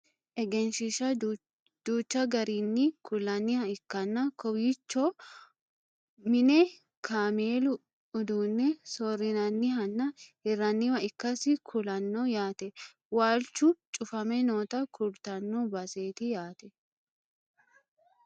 egenshiishsha duucha garinni kullanniha ikkanna kowiichono mine kameelu uduunne soorrinannihanna hirranniwa ikkasi kulanno yaate waalchu cufame noota kultanno baseeti yaate